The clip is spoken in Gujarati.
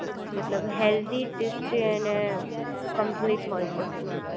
મતલબ હેલ્થી ટેસ્ટી અને કમ્પલેટ હોય છે ફૂડ